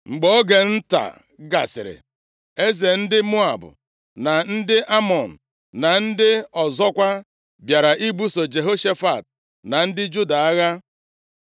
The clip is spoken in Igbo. Mgbe oge nta gasịrị, eze ndị Moab na nke ndị Amọn, na ndị ọzọkwa, bịara ibuso Jehoshafat na ndị Juda agha.